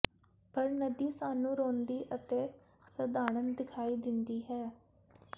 ਪਰ ਨਦੀ ਸਾਨੂੰ ਰੋਂਦੀ ਅਤੇ ਸਧਾਰਣ ਦਿਖਾਈ ਦਿੰਦੀ ਹੈ